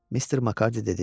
Mister Makarddi dedi.